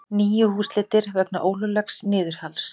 Níu húsleitir vegna ólöglegs niðurhals